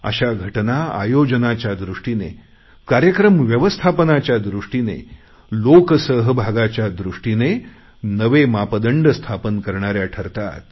अशा घटना आयोजनाच्या दृष्टीने कार्यक्रम व्यवस्थापनाच्या दृष्टीने लोक सहभागाच्या दृष्टीने नवे मापदंड स्थापन करणाऱ्या ठरतात